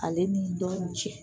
Ale ni dɔni cɛ